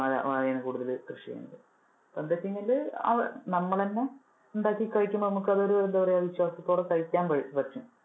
അഹ് വാഴയാണ് കുടുതലും കൃഷി ചെയ്യുന്നത്. അപ്പൊന്താചെങ്കില് നമ്മൾ തന്നെ ഉണ്ടാക്കി കഴിക്കുമ്പോൾ നമുക്ക് അതൊരു എന്താ പറയാ വിശ്വാസത്തോടെ കഴിക്കാൻ പറ്റും.